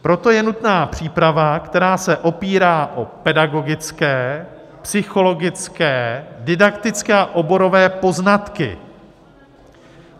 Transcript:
Proto je nutná příprava, která se opírá o pedagogické, psychologické, didaktické a oborové poznatky.